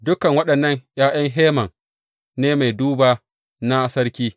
Dukan waɗannan ’ya’yan Heman ne mai duba na sarki.